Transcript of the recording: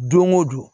Don o don